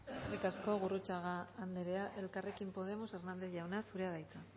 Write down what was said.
eskerrik asko gurrutxaga anderea elkarrekin podemos hernández jauna zurea da hitza